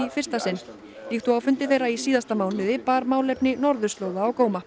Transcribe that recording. fyrsta sinn líkt og á fundi þeirra í síðasta mánuði bar málefni norðurslóða á góma